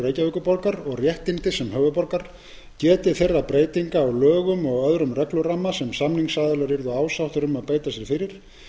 reykjavíkurborgar og réttindi sem höfuðborgar getið þeirra breytinga á lögum og öðrum regluramma sem samningsaðilar yrðu ásáttir um að beita sér fyrir